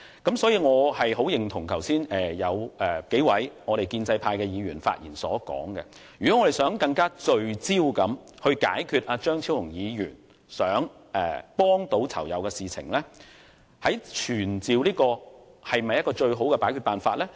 因此，我十分認同數位建制派議員剛才發言時所提出，如果我們要更聚焦處理張超雄議員想幫助囚友的事宜，傳召懲教署署長或助理署長是否最好的辦法？